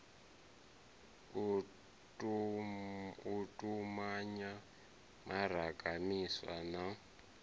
u tumanya mimaraga miswa na